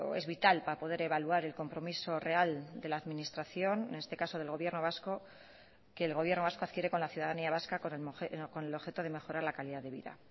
es vital para poder evaluar el compromiso real de la administración en este caso del gobierno vasco que el gobierno vasco adquiere con la ciudadanía vasca con el objeto de mejorar la calidad de vida